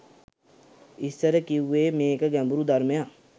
ඉස්සර කිව්වේ මේක ගැඹුරු ධර්මයක්